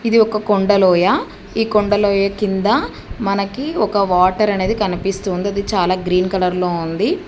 ఇది ఒక కొండలోయ ఈ కొండలోయ కింద మనకి ఒక వాటర్ అనేది కనిపిస్తుంది అది చాలా గ్రీన్ కలర్ లో ఉంది.